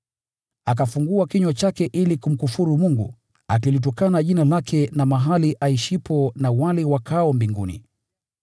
Akafungua kinywa chake ili kumkufuru Mungu, akilitukana Jina lake na mahali aishipo na wale wakaao mbinguni.